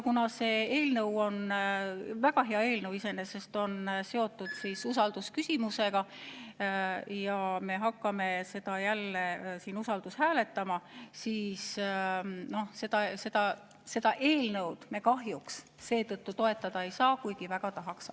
Kuna see eelnõu, iseenesest väga hea eelnõu, on seotud usaldusküsimusega ja me hakkame seda jälle usaldushääletama, siis me seda eelnõu kahjuks toetada ei saa, kuigi väga tahaks.